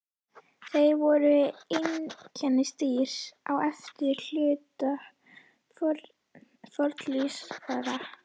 Þeir voru einkennisdýr á efri hluta fornlífsaldar.